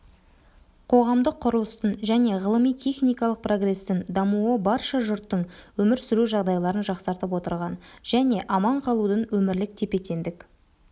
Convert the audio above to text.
қоғамдық құрылыстың және ғылыми-техникалық прогрестің дамуы барша жұрттың өмір сүру жағдайларын жасқартып отырған және аман қалудың өмірлік тепе-теңдік